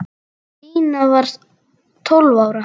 Stína var tólf ára.